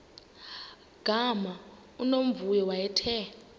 gama unomvuyo wayethe